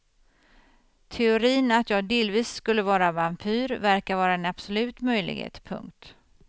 Teorin att jag delvis skulle vara vampyr verkar vara en absolut möjlighet. punkt